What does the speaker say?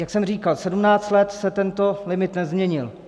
Jak jsem říkal, 17 let se tento limit nezměnil.